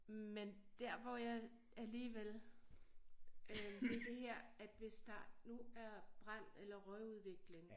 Men der hvor jeg alligevel øh det det at her hvis der nu er brand eller røgudvikling